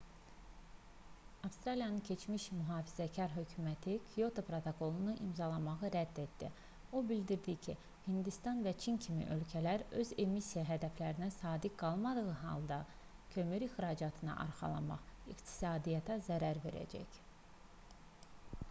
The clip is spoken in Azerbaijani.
avstraliyanın keçmiş mühafizəkar hökuməti kyoto protokolunu imzalamağı rədd etdi o bildirdi ki hindistan və çin kimi ölkələr öz emissiya hədəflərinə sadiq qalmadığı halda kömür ixracatına arxalanmaq iqtisadiyyata zərər verəcək